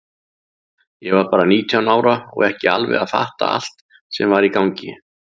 Ég var bara nítján ára og ekki alveg að fatta allt sem var í gangi.